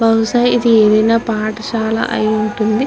బహుశా ఇది ఏదైనా పాఠశాల అయియుంటుంది.